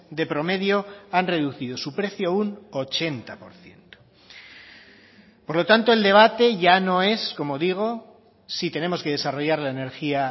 de promedio han reducido su precio un ochenta por ciento por lo tanto el debate ya no es como digo si tenemos que desarrollar la energía